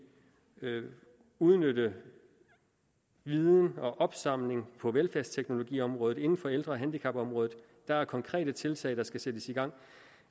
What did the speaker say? kan udnytte viden og opsamle viden på velfærdsteknologiområdet inden for ældre og handicapområdet der er konkrete tiltag der skal sættes i gang